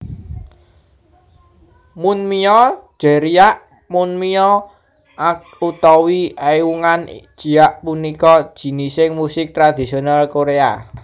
Munmyo Jeryeak Munmyo ak utawi Eungan jiak punika jinising musik tradisional Korea